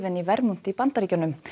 í Vermont í Bandaríkjunum